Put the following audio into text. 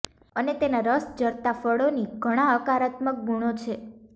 અને તેનાં રસ ઝરતાં ફળોની ઘણા હકારાત્મક ગુણો છે